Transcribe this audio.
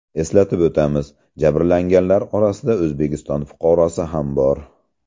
Eslatib o‘tamiz, jabrlanganlar orasida O‘zbekiston fuqarosi ham bor .